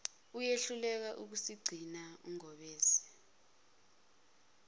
uyehluleka ukusigcina ungobese